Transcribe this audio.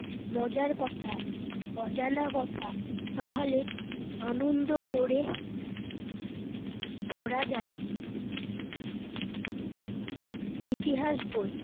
মজার কথা, অজানা কথা, তাহলে আনন্দ করে পড়া যায় ইতিহাস বই।